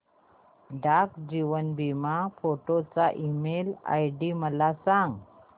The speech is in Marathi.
डाक जीवन बीमा फोर्ट चा ईमेल आयडी मला सांग